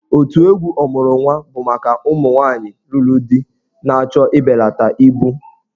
Otù egwu 'Ọmuru Nwa' bụ maka ụmụ nwaanyị lụrụ di na-achọ ịbelata ibu.